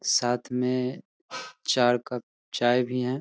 साथ में चार कप चाय भी है।